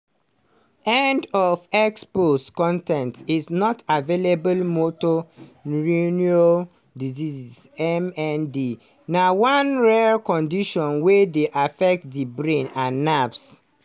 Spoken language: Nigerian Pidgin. end of x post con ten t is not available motor neurone disease (mnd) na one rare condition wey dey affect di brain and nerves.